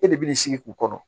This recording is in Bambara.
E de b'i sigi k'u kɔnɔ